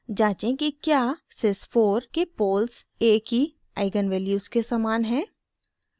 जाँचें कि क्या sys4 के पोल्स a की आइगन वैल्यूज़ के समान हैं